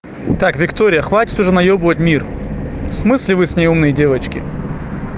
так виктория хватит уже наёбывать мир в смысле вы с ней умные девочки